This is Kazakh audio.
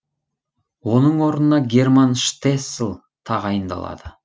оның орнына герман штессл тағайындалады